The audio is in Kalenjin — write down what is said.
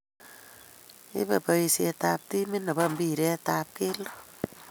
ibei boisie ab timit ne bo mpiret ab kelto